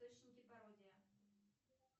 источники пародия